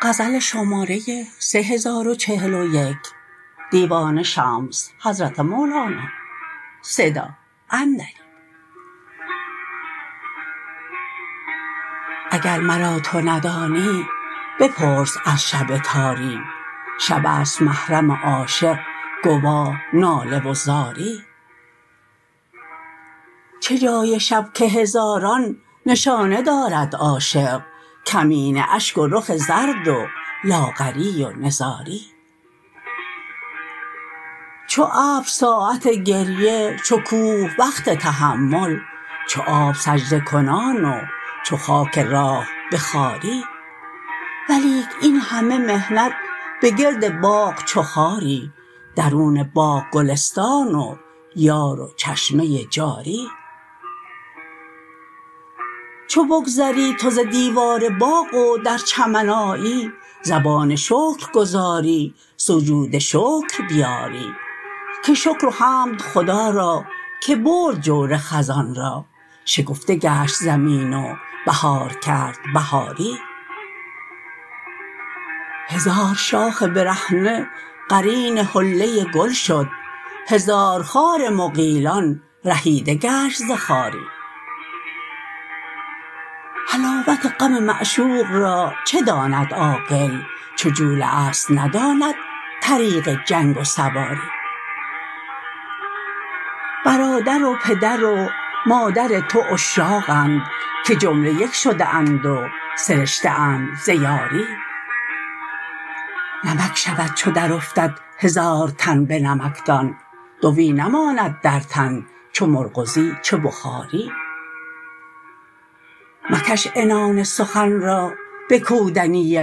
اگر مرا تو ندانی بپرس از شب تاری شب است محرم عاشق گواه ناله و زاری چه جای شب که هزاران نشانه دارد عاشق کمینه اشک و رخ زرد و لاغری و نزاری چو ابر ساعت گریه چو کوه وقت تحمل چو آب سجده کنان و چو خاک راه به خواری ولیک این همه محنت به گرد باغ چو خاری درون باغ گلستان و یار و چشمه جاری چو بگذری تو ز دیوار باغ و در چمن آیی زبان شکر گزاری سجود شکر بیاری که شکر و حمد خدا را که برد جور خزان را شکفته گشت زمین و بهار کرد بهاری هزار شاخ برهنه قرین حله گل شد هزار خار مغیلان رهیده گشت ز خاری حلاوت غم معشوق را چه داند عاقل چو جوله ست نداند طریق جنگ و سواری برادر و پدر و مادر تو عشاقند که جمله یک شده اند و سرشته اند ز یاری نمک شود چو درافتد هزار تن به نمکدان دوی نماند در تن چه مرغزی چه بخاری مکش عنان سخن را به کودنی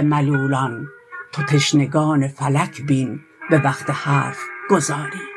ملولان تو تشنگان ملک بین به وقت حرف گزاری